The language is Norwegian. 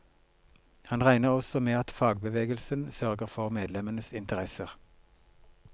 Han regner også med at fagbevegelsen sørger for medlemmenes interesser.